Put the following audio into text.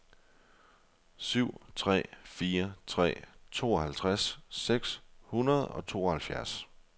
syv tre fire tre tooghalvtreds seks hundrede og tooghalvfjerds